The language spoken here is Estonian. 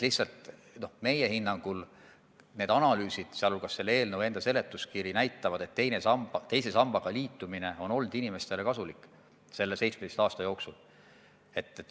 Lihtsalt meie hinnangul analüüsid, sh selle eelnõu enda seletuskiri, näitavad, et teise sambaga liitumine on inimestele selle 17 aasta jooksul kasulik olnud.